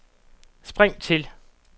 spring til